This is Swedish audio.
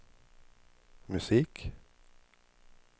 musik